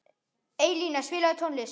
Eyjalín, spilaðu tónlist.